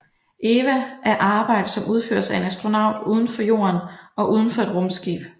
EVA er arbejde som udføres af en astronaut udenfor Jorden og udenfor et rumskib